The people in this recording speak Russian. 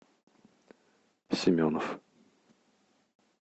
семенов